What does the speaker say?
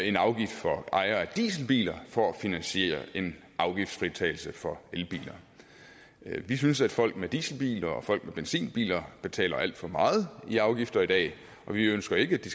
en afgift for ejere af dieselbiler for at finansiere en afgiftsfritagelse for elbilerne vi synes at folk med dieselbiler og folk med benzinbiler betaler alt for meget i afgifter i dag og vi ønsker ikke at de